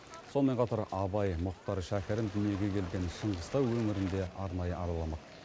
сонымен қатар абай мұхтар шәкәрім дүниеге келген шыңғыстау өңірін де арнайы араламақ